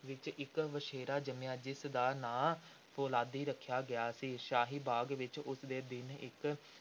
ਵਿਚ ਇਕ ਵਛੇਰਾ ਜੰਮਿਆ ਸੀ, ਜਿਸ ਦਾ ਨਾਂ ‘ਫ਼ੌਲਾਦੀ’ ਰੱਖਿਆ ਗਿਆ ਸੀ। ਸ਼ਾਹੀ ਬਾਗ਼ ਵਿਚ ਉਸੇ ਦਿਨ ਇੱਕ